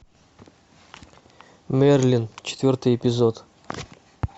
мерлин четвертый эпизод